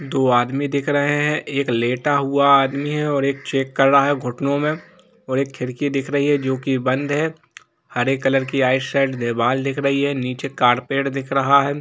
दो आदमी दिख रहे हैं एक लेटा हुआ आदमी है और एक चेक कर रहा है घुटनों में परी खिड़की दिख रही है जो की बंद है हरे कलर की नीचे दीवाल दिख रही है नीचे कारपेट दिख रहा है ।